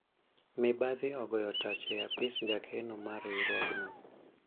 mibadhi ogoyo tach e apis jakeno mar riwruogno